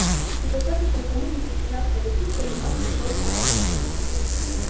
и достаточно кому-нибудь из нас подойти чтобы он пришёл в себя